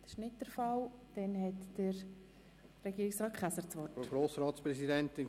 Ich erteile das Wort an Regierungsrat Käser.